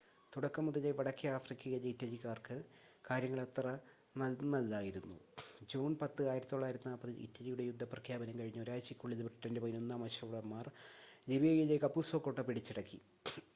തുടക്കം മുതലേ വടക്കേ ആഫ്രിക്കയിലെ ഇറ്റലിക്കാർക്ക് കാര്യങ്ങൾ അത്ര നന്നല്ലായിരുന്നു ജൂൺ 10 1940 ൽ ഇറ്റലിയുടെ യുദ്ധപ്രഖ്യാപനം കഴിഞ്ഞ് ഒരാഴ്ചക്കുള്ളിൽ ബ്രിട്ടൻ്റെ 11-ാം അശ്വഭടൻമാർ ലിബിയയിലെ കപുസോ കോട്ട പിടിച്ചടക്കി